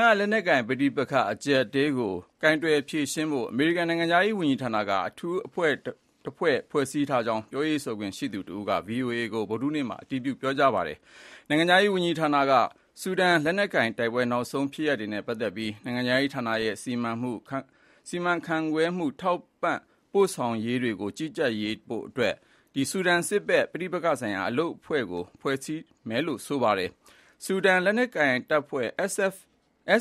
က လက်နက်ကိုင်ပဋိပက္ခအကျပ်အတည်းကို ကိုင်တွယ်ဖြေရှင်းဖို့ အမေရိကန် နိုင်ငံခြားရေးဝန်ကြီးဌာနက အထူးအဖွဲ့တဖွဲ့ ဖွဲ့စည်းထားကြောင်း ပြောရေးဆိုခွင့်ရှိသူတဦးက ဗွီအိုအေကို ဗုဒ္ဓဟူးနေ့မှာ အတည်ပြုခဲ့ပါတယ်။ နိုင်ငံခြားရေးဝန်ကြီးဌာနက ဆူဒန်လက်နက်ကိုင်တိုက်ပွဲ နောက်ဆုံးဖြစ်ရပ်တွေနဲ့ပတ်သက်ပြီး နိုင်ငံခြားရေး ဌာနရဲ့ စီစဉ်မှု၊ စီမံခန့်ခွဲမှုနဲ့ ထောက်ပံ့ပို့ဆောင်မှုတွေကို ကြီးကြပ်ဖို့ ဆူဒန်စစ်ဘက်ပဋိပက္ခဆိုင်ရာ အလုပ်အဖွဲ့ကို ဖွဲ့စည်းထားတယ်လို့ဆိုပါတယ်။ ဆူဒန်လက်နက်ကိုင်တပ်ဖွဲ့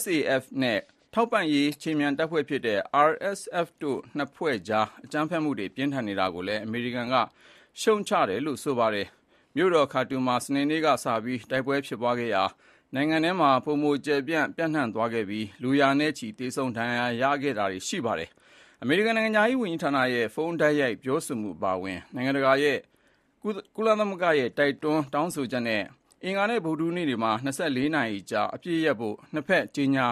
(SAF) နဲ့ ထောက်ပံ့ရေးခြေမြန်တပ်ဖွဲ့ (RSF) တို့ နှစ်ဖက် အကြမ်းဖက်မှုတွေ ပြင်းထန်နေတာကိုလည်း အမေရိကန်က ရှုတ်ချတယ်လို့လည်း ဆိုပါတယ်။ မြို့တော်ခါတွန်မှာ စနေနေ့ကစပြီး တိုက်ပွဲဖြစ်ပွားခဲ့ရာ နိုင်ငံထဲမှာ ပိုမို ကျယ်ပြန့် ပျံ့နှံ့သွားခဲ့ပြီး လူရာနဲ့ချီ သေဆုံးဒဏ်ရာရရှိခဲ့ပြီးဖြစ်ပါတယ်။ အမေရိကန် နိုင်ငံခြားရေးဝန်ကြီးရဲ့ ဖုန်းတိုက်ရိုက်ပြောဆိုမှုအပါအဝင် နိုင်ငံတကာနဲ့ ကုလသမဂ္ဂရဲ့ တိုက်တွန်းတောင်းဆိုချက်နဲ့ အင်္ဂါနဲ့ ဗုဒ္ဓဟူးနေ့တွေမှာ ၂၄ နာရီကြာ အပစ်ရပ်ဖို့ နှစ်ဘက် ကြေညာ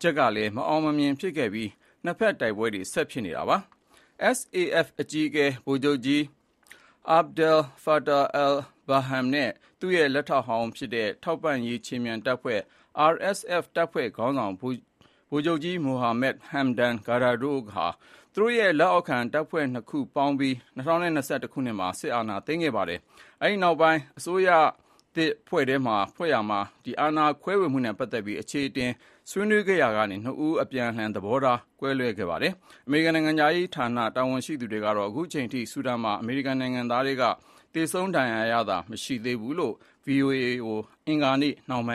ချက်ကလည်း မအောင်မမြင်ဖြစ်ခဲ့ပြီး နှစ်ဘက်တိုက်ပွဲတွေ ဆက်ဖြစ်နေတာပါ။ SAF အကြီးအကဲ ဗိုလ်ချုပ်ကြီး အာဘ်ဒယ် ဖာတာ အယ်လ်-ဘာဟန် နဲ့ သူ့ရဲ့ လက်ထောက်ဟောင်းဖြစ်ခဲ့တဲ့ ထောက်ပံ့ရေးခြေမြန်တပ်ဖွဲ့ RSF တပ်ဖွဲ့ခေါင်းဆောင် ဗိုလ်ချုပ်ကြီး မိုဟာမက် ဟမ်ဒန် ဒါဂါလိုတို့ဟာ သူတို့ရဲ့လက်အောက်ခံတပ်ဖွဲ့နှစ်ခု ပေါင်းပြီး ၂၀၂၁ ခုနှစ်မှာ စစ်အာဏာသိမ်းခဲ့ပါတယ်။ အဲဒီ နောက်ပိုင်း အစိုးရသစ်ဖွဲ့ရာမှာ အာဏာခွဲဝေမှုနဲ့ပတ်သက်ပြီး အချေအတင်ဆွေးနွေးခဲ့ရာကနေ သဘောထားကွဲလွဲခဲ့ကြပါတယ်။ အမေရိကန်နိုင်ငံခြားရေးဌာန တာဝန်ရှိသူတွေက အခုချိန်အထိ ဆူဒန်မှာ အမေရိကန်နိုင်ငံသားထဲက သေဆုံးဒဏ်ရာရတာမရှိသေးဘူးလို့ VOA ကို အင်္ဂါနေ့နှောင်းပိုင်း